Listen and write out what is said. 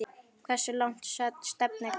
Hversu langt stefnir hún?